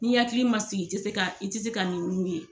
N'i hakili ma sigi i te se k'a i te se k'a ninnu ye